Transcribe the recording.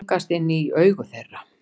Stingast inn í augu þeirra.